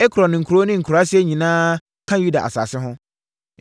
Ekron nkuro ne nkuraaseɛ nyinaa ka Yuda asase ho,